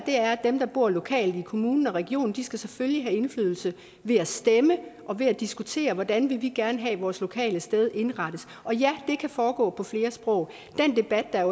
dem der bor lokalt i kommunen og regionen selvfølgelig skal have indflydelse ved at stemme og ved at diskutere hvordan vil vi gerne have at vores lokale sted indrettes og ja det kan foregå på flere sprog den debat der